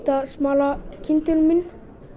að smala kindunum inn